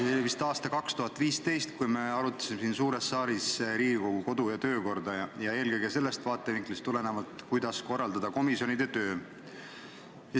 See oli vist aasta 2015, kui arutasime siin suures saalis Riigikogu kodu- ja töökorra seadust – eelkõige sellest vaatevinklist lähtuvalt, kuidas korraldada komisjonide tööd.